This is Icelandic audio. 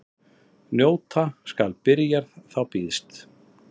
Njóta skal byrjar þá býðst.